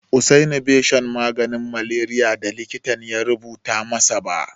Usaini bai sha maganin maleriyar da likitan ya rubuta masa ba.